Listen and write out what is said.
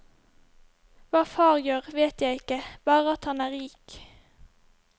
Hva far gjør, vet jeg ikke, bare at han er rik.